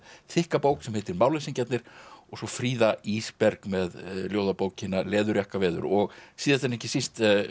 þykka bók sem heitir og svo Fríða Ísberg með ljóðabókina Leðurjakkaveður og síðast en ekki síst